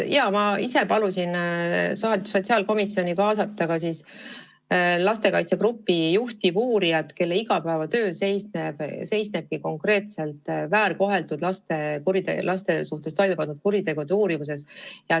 Ma ise palusin sotsiaalkomisjonil kaasata lastekaitsegrupi juhtivuurija, kelle igapäevatöö seisnebki väärkoheldud laste suhtes toime pandud kuritegude uurimises.